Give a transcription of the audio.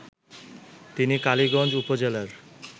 তিনি কালীগঞ্জ উপজেলার